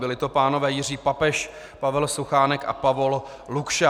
Byli to pánové Jiří Papež, Pavel Suchánek a Pavol Lukša.